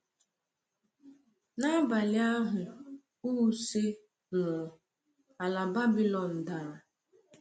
N’abalị ahụ Uhce nwụrụ, alaeze Babylon dara.